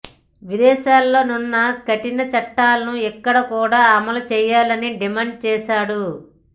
విదేశాల్లో వున్న కఠిన చట్టాలను ఇక్కడ కూడా అమలు చేయాలని డిమాండ్ చేశాడు